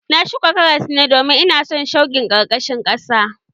Na shuka karas ne domin ina son shukin ƙarkashin ƙasa